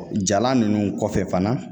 jalan ninnu kɔfɛ fana